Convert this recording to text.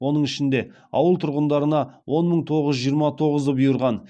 оның ішінде ауыл тұрғындарына он мың тоғыз жүз жиырма тоғызы бұйырған